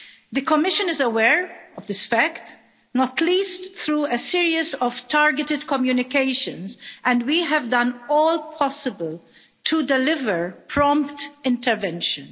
The Commission is aware of this fact, not least through a series of targeted communications and we have done all possible to deliver prompt intervention.